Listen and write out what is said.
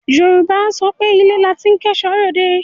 Yorùbá á sọ pé ilé la ti ń kẹ́ẹ̀ṣọ́ ròde.